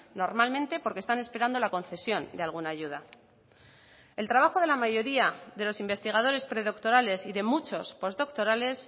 normalmente porque están esperando la concesión de alguna ayuda el trabajo de la mayoría de los investigadores predoctorales y de muchos postdoctorales